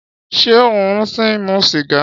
Ṣé ó ṣì ń mu sìgá?